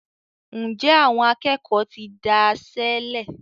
njé Àwọn akékòó tí dáiṣélè?